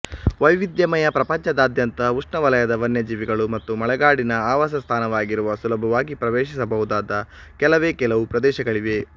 ವೈವಿಧ್ಯಮಯ ಪ್ರಪಂಚದಾದ್ಯಂತ ಉಷ್ಣವಲಯದ ವನ್ಯಜೀವಿಗಳು ಮತ್ತು ಮಳೆಗಾಡಿನ ಆವಾಸ ಸ್ಥಾನವಾಗಿರುವ ಸುಲಭವಾಗಿ ಪ್ರವೇಶಿಸಬಹುದಾದ ಕೆಲವೇ ಕೆಲವು ಪ್ರದೇಶಗಳಿವೆ